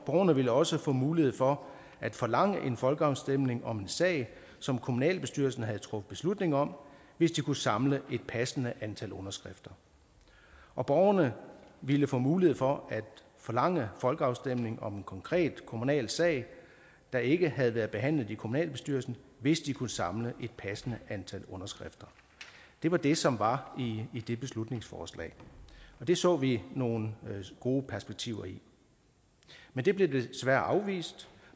borgerne ville også få mulighed for at forlange en folkeafstemning om en sag som kommunalbestyrelsen havde truffet beslutning om hvis de kunne samle et passende antal underskrifter og borgerne ville få mulighed for at forlange folkeafstemning om en konkret kommunal sag der ikke havde været behandlet i kommunalbestyrelsen hvis de kunne samle et passende antal underskrifter det var det som var i det beslutningsforslag og det så vi nogle gode perspektiver i men det blev desværre afvist